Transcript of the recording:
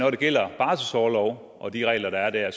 det gælder barselsorlov og de regler der er der